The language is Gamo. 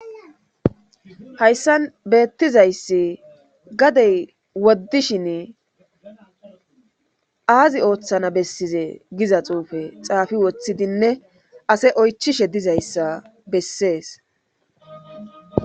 Hayssan beettizayssi gadey woddishin aazi ooththana bessize giza xuufe xaafi woththidinne ase oychishe dizayssa bessees.